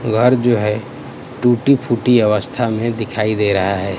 दीवार जो है टूटी फूटी अवस्था में दिखाई दे रहा है--